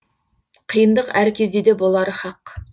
қиындық әр кездеде болары хақ